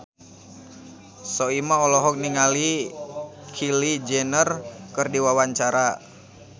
Soimah olohok ningali Kylie Jenner keur diwawancara